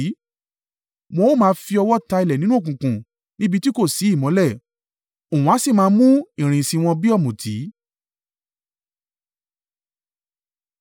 Wọn a máa fi ọwọ́ ta ilẹ̀ nínú òkùnkùn níbi tí kò sí ìmọ́lẹ̀; òun a sì máa mú ìrìn ìsìn wọn bí ọ̀mùtí.